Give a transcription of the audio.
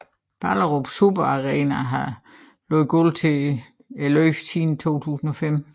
Ballerup Super Arena har lagt gulv til løbet siden 2005